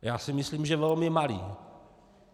Já si myslím, že velmi malý.